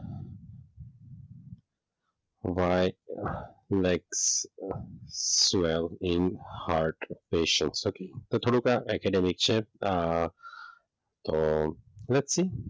ભણાઇ like in heart okay તો થોડું આ છે એકેડેમિક તો વ્યક્તિ,